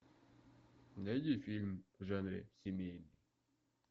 найди фильм в жанре семейный